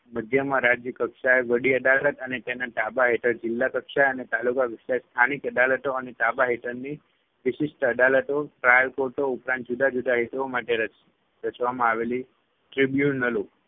મધ્યમાં રાજ્ય કક્ષાએ વડી અદાલત અને તેના તાબા હેઠળ જિલ્લા કક્ષાએ અને તાલુકા કક્ષાએ સ્થાનિક અદાલતો અને તાબા હેઠળની વિશિષ્ઠ અદાલતો, trial courts ઉપરાંત જુદા જુદા હેતુઓ માટે રચ રચવામાં આવેલી Tribunals